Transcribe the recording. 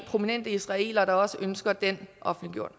prominente israelere der også ønsker den offentliggjort